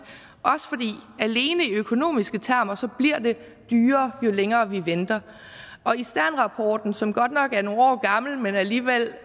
alene i økonomiske termer bliver dyrere jo længere vi venter og i sternrapporten som godt nok er nogle år gammel men alligevel